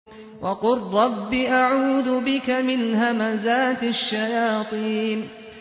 وَقُل رَّبِّ أَعُوذُ بِكَ مِنْ هَمَزَاتِ الشَّيَاطِينِ